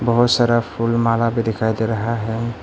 बहुत सारा फूल माला भी दिखाई दे रहा है।